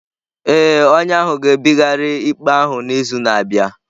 Ee, onye ahụ ga-ebigharị ikpe thjs n'izu na-abịa.